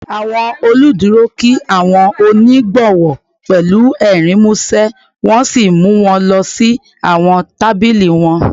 Awọn oluduro kí awọn onigbowo pẹlu ẹrin musẹ wọn si mu wọn lọ si awọn tabili wọn